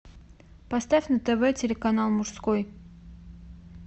поставь на тв телеканал мужской